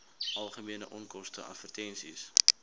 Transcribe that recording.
algemene onkoste advertensies